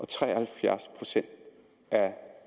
tre og halvfjerds procent af